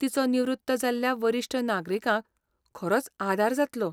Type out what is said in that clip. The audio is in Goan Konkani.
तिचो निवृत्त जाल्ल्या वरिश्ठ नागरिकांक खरोच आदार जातलो.